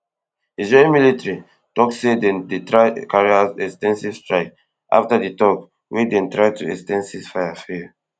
israee military tok say dem dey carry out ex ten sive strikes afta di tok wey dem try to ex ten d ceasefire fail